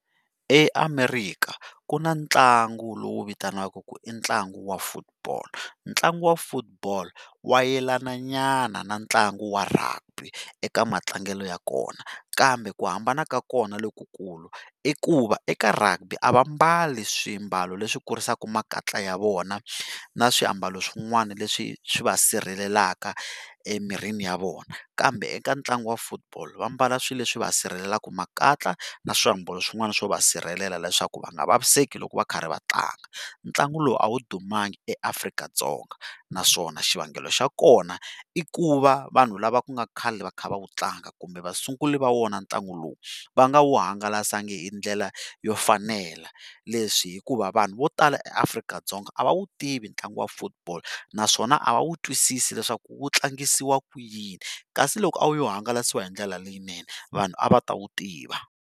EAmerika ku na ntlangu lowu vitanaka ku i ntlangu wa football. Ntlangu wa football wa yelana nyana na ntlangu wa Rugby eka matlangelo ya kona, kambe ku hambana ka kona lokukulu i ku va eka Rugby a va mbali swiambalo leswi kurisaka makatla ya vona na swiambalo swin'wana leswi swi va sirhelelaka emirini ya vona, kambe eka ntlangu wa football va mbala swilo leswi va sirhelelaka makatla na swiambalo swin'wana swo va sirhelela leswaku va nga vaviseki loko va karhi va tlanga. Ntlangu lowu a wu dumanga eAfrika-Dzonga naswona xivangelo xa kona i ku va vanhu lava ku nga khale va kha va wu tlanga kumbe va sunguli va wona ntlangu lowu va nga wu hungalasanga hi ndlela yo fanela, leswi hikuva vanhu vo tala eAfrika-Dzonga a va wu tivi ntlangu wa football, naswona a va wu twisisi leswaku wu tlangisiwa ku yini, kasi loko a wu yo hangalasiwa hindlela leyinene vanhu a va ta wu tiva.